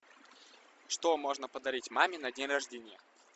что можно подарить маме на день рождения